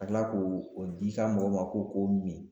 Ka kila k'o o di ka mɔgɔ ma k'o k'o mi